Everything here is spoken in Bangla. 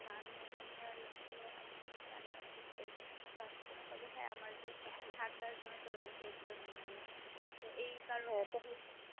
pneummonnia এর আসলে আমি জানিনা কি ঠিক আছে কি না তবে হ্যাঁ আমার যে ঠান্ডার জন্য যে রোগ হয়েছিল তো এই কারণে